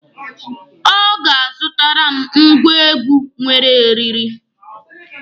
Ọ ga-azụtara m ngwa egwu nwere eriri.